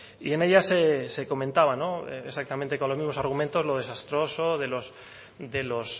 y en ella se comentaba exactamente con los mismos argumentos lo desastroso de los